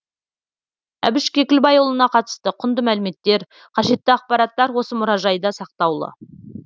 әбіш кекілбайұлына қатысты құнды мәліметтер қажетті ақпараттар осы мұражайда сақтаулы